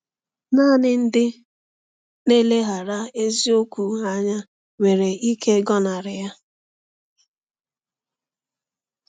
Naanị ndị na-eleghara eziokwu anya nwere ike ịgọnarị ya!